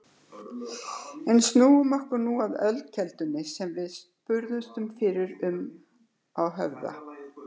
En snúum okkur nú að ölkeldunni sem við spurðumst fyrir um á Höfða.